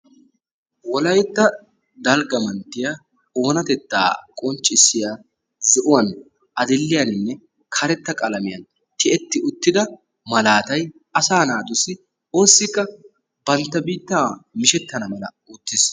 Wolaytta dalgga manttiya oonatettaa qonccissiya zo'uwan, adil"iyaninne karetta qalamiyan tiyetti uttida malaatay asaa naatussi oossikka bantta biittaa mishettana mala oottees.